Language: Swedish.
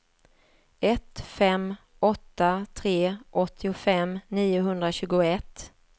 ett fem åtta tre åttiofem niohundratjugoett